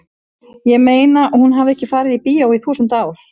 ég meina hún hafði ekki farið í bíó í þúsund ár.